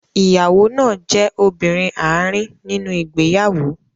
Ìyàwó náà jẹ́ obìnrin àárín nínú ìgbéyàwó.